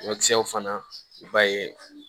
Ɲɔkisɛw fana i b'a ye